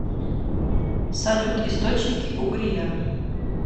салют источники угрия